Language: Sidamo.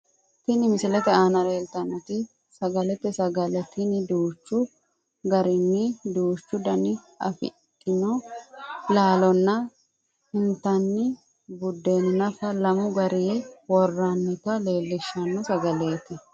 Tini misilete aana leeltannoti sagalete sagale tini duuchu garinni duucha danna afidhino laalonna intanni bideena nafanni lamu gariha worroonnita leellishshanno sagaleeti.